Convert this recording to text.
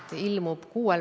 Tänan küsimuste eest!